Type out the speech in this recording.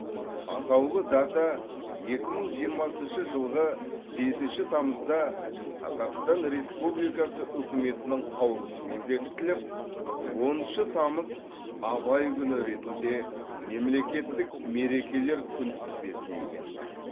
атаулы дата екі мың жиырмасыншы жылғы бесінші тамызда қазақстан республикасы үкіметінің қаулысымен бекітіліп оныншы тамыз абай күні ретінде мемлекеттік мерекелер күнтізбесіне енді